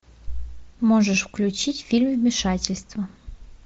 можешь включить фильм вмешательство